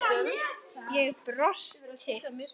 Ég brosti.